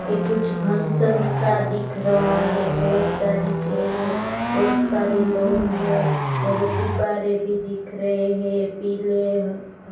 ये कुछ फंक्शन सा दिख रहा है बहोत सारी चेयर है बहोत सारे लोग हैं और गुब्बारे भी दिख रहे हैं पीले ह --